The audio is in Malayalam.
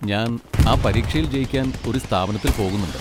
ഞാൻ ആ പരീക്ഷയിൽ ജയിക്കാൻ ഒരു സ്ഥാപനത്തിൽ പോകുന്നുണ്ട്.